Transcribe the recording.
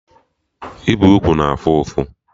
Ịbe ugwu na afụ ụfụ